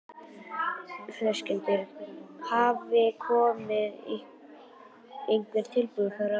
Höskuldur: Hafa komið einhver tilboð frá ríkinu?